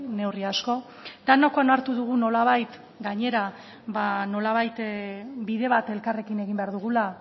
neurri asko denek onartu dugu nolabait gainera ba nolabait bide bat elkarrekin egin behar dugula